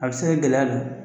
A bɛ se ka gɛlɛya don